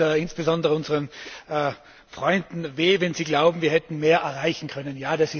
Er tut insbesondere unseren Freunden weh, wenn sie glauben, wir hätten mehr erreichen können.